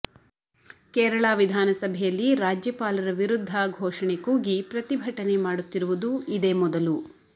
ಕೇರಳ ವಿಧಾನಸಭೆಯಲ್ಲಿ ರಾಜ್ಯಪಾಲರ ವಿರುದ್ಧ ಘೋಷಣೆ ಕೂಗಿ ಪ್ರತಿಭಟನೆ ಮಾಡುತ್ತಿರುವುದು ಇದೇ ಮೊದಲು